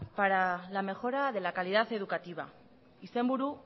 para la mejora de la calidad educativa izenburu